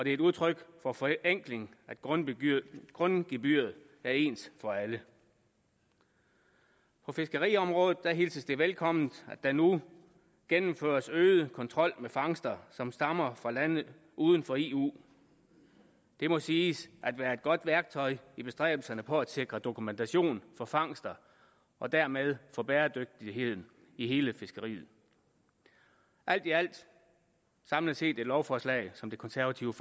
et udtryk for forenkling at grundgebyret grundgebyret er ens for alle på fiskeriområdet hilses det velkomment at der nu gennemføres en øget kontrol ved fangster som stammer fra lande uden for eu det må siges at være et godt værktøj i bestræbelserne på at sikre dokumentation for fangster og dermed for bæredygtigheden i hele fiskeriet alt i alt samlet set et lovforslag som det konservative